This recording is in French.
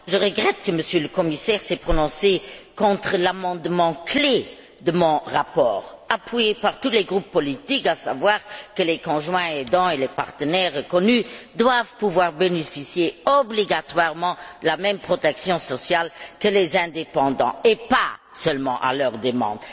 Madame la Présidente, je regrette que M. le commissaire se soit prononcé contre l'amendement clé de mon rapport, appuyé par tous les groupes politiques, qui veut que les conjoints aidants et les partenaires reconnus doivent pouvoir bénéficier obligatoirement de la même protection sociale que les indépendants, et pas seulement à leur demande.